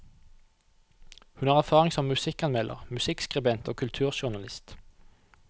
Hun har erfaring som musikkanmelder, musikkskribent og kulturjournalist.